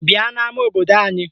Bịa n'ama obodo anyị!